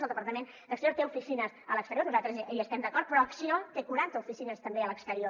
el departament d’exteriors té oficines a l’exterior nosaltres hi estem d’acord però acció té quaranta oficines també a l’exterior